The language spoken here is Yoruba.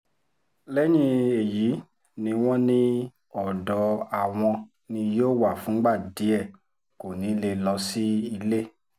lẹ́yìn èyí ni wọ́n ní ọ̀dọ̀ àwọn ni yóò wà fúngbà díẹ̀ kó ní í lè lọ sílé